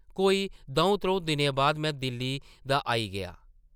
कोई दʼऊं-त्रʼऊं दिनें बाद में दिल्ली दा आई गेआ ।